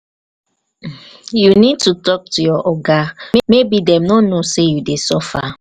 you need to talk to your oga maybe dem no know say you dey suffer.